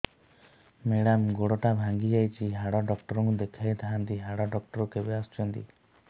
madam ଗୋଡ ଟା ଭାଙ୍ଗି ଯାଇଛି ହାଡ ଡକ୍ଟର ଙ୍କୁ ଦେଖାଇ ଥାଆନ୍ତି ହାଡ ଡକ୍ଟର କେବେ ଆସୁଛନ୍ତି